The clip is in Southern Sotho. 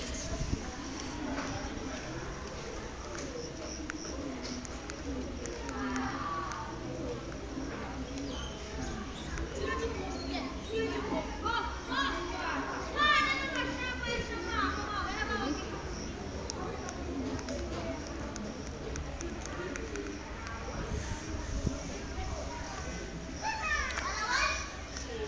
o ke ke wa atleha